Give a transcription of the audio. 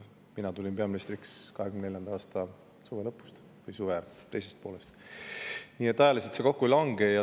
Mina tulin peaministriks 2024. aasta suve lõpus või suve teises pooles, nii et ajaliselt need asjad kokku ei lange.